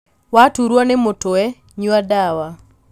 Waturwo ni mũtwe nyua ndawa.